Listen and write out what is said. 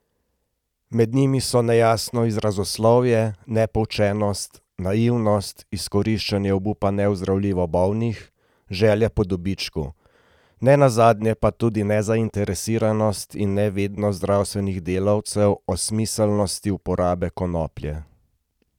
Med njimi so nejasno izrazoslovje, nepoučenost, naivnost, izkoriščanje obupa neozdravljivo bolnih, želja po dobičku, ne nazadnje pa tudi nezainteresiranost in nevednost zdravstvenih delavcev o smiselnosti uporabe konoplje.